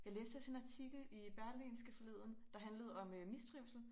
Jeg læste også en artikel i berlingske forleden der handlede om mistrivsel